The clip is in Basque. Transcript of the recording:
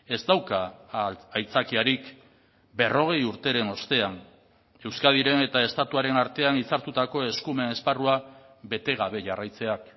ez dauka aitzakiarik berrogei urteren ostean euskadiren eta estatuaren artean hitzartutako eskumen esparrua bete gabe jarraitzeak